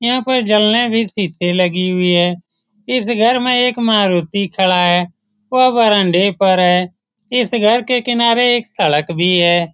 यहाँ पर जलना भी से लगी हुई है इस घर में एक मारुति खड़ा है वह बरामदा पर है इस घर के किनारे एक सड़क भी है ।